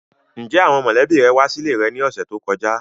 Njẹ awọn mọlẹbi rẹ wa sile rẹ ni ọsẹ to kọja?